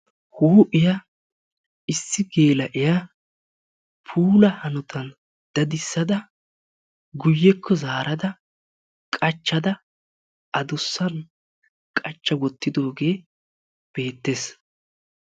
Huuphiya issi geela'iya puulaa hanotan daddissada guyyekko zaarada qachchada addussan qacha wottidoogee beettees.